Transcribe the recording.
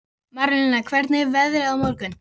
Dómald, hvað er á innkaupalistanum mínum?